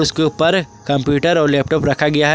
उसके उपर कंप्यूटर और लैपटॉप रखा गया है।